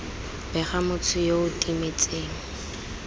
bega motho yo o timetseng